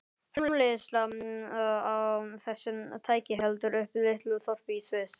Framleiðsla á þessu tæki heldur uppi litlu þorpi í Sviss.